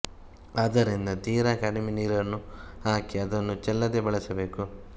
ಆದ್ದರಿಂದ ತೀರ ಕಡಿಮೆ ನೀರನ್ನು ಹಾಕಿ ಅದನ್ನು ಚೆಲ್ಲದೆ ಬಳಸಬೇಕು